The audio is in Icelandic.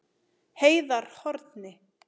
Heiðarhorni